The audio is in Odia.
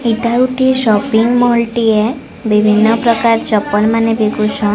ଏଇଟା ଗୋଟେ ସପିଙ୍ଗ ମଲ ଟେ ଏ ବିଭିନ୍ନ ପ୍ରକର ଚପଲ ମାନେ ଵିକୁ ଚନ୍ --